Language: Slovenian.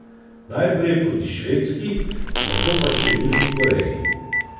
Najprej proti Švedski, nato pa še Južni Koreji.